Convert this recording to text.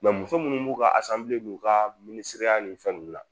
Nka muso minnu b'u ka asanbile ni u ka minisiriya nin fɛnw la